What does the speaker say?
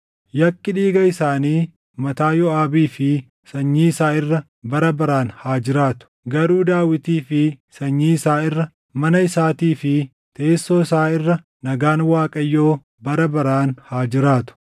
Yakki dhiiga isaanii mataa Yooʼaabii fi sanyii isaa irra bara baraan haa jiraatu. Garuu Daawitii fi sanyii isaa irra, mana isaatii fi teessoo isaa irra nagaan Waaqayyoo bara baraan haa jiraatu.”